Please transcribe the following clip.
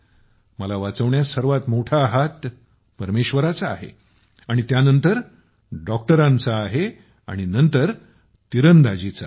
मला वाचवण्यात सर्वात मोठा हात परमेश्वराचा आहे आणि त्यानंतर डॉक्टरांचा आहे आणि नंतर तिरंदाजीचा आहे